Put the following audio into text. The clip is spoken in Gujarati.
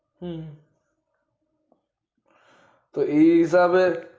હમ તો એજ આવે ને